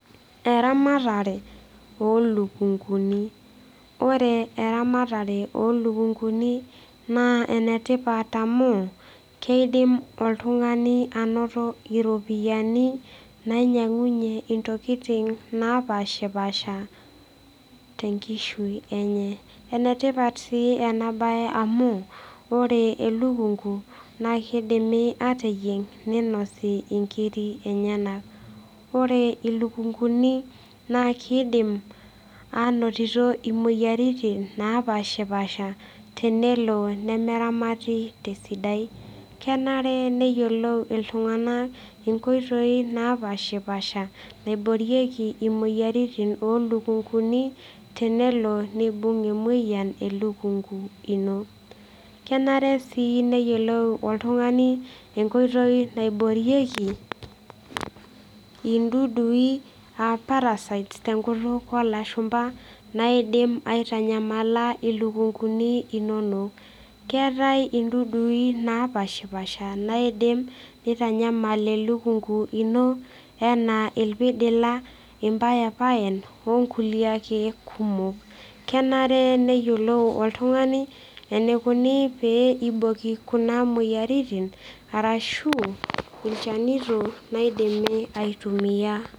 eramatare oolukunkuni. ore eramatre oo lukunkuni naa ene tipat amu, keidim oltung'ani anoto iropiyiani nainyiang'unye ntokitin, naapashipaasha te nkishui enye. ene tipat sii ena bae amu ore, elukunku naa kidimi aateyieng' ninosi nkiri enyenak. ore ilukunkuni, naa kidim aanotito imoyiaritin naapashipaasha tenelo nemeramati esidai. kenare, neyiolou iltung'anak inkoitoi naapashipaasha, naioorieki imoyiaritin oolukunkuni, tenelo neibung' emoyian elukunku ino. kenare sii neyiolou oltungani enkoitoi naiboorieki, idudui aa parasites tenkutuk oolashumpa, naidim aitanyamala ilukunkuni inonok. keetae idudui naapashipaasha naidim, nitanyamal elukunku ino anaa irpidila, impayipayan onkulie ake kumok. kenare neyiolou oltung'ani, eneikoni pee eiboki kuna moyiaritin ashu ilchanito loidimi ai tumia.